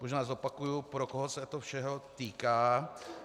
Možná zopakuji, pro koho všeho se to týká.